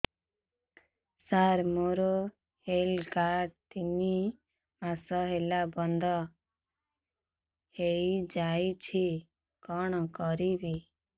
ସାର ମୋର health card ତିନି ମାସ ହେଲା ବନ୍ଦ ହେଇଯାଇଛି କଣ କରିବି